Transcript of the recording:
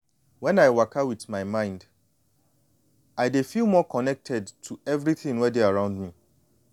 when i waka with my mind i dey feel more connected to everything wey dey around me